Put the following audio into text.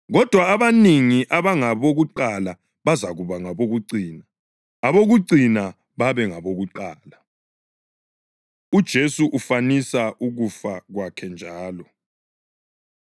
Kodwa abanengi abangabokuqala bazakuba ngabokucina, abokucina babe ngabokuqala.” UJesu Ufanisa Ukufa Kwakhe Njalo